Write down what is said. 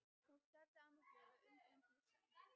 Hún starði á mig glöð og undrandi í senn.